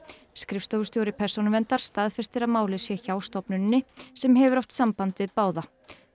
skrifstofustjóri Persónuverndar staðfestir að málið sé hjá stofnuninni sem hefur haft samband við báða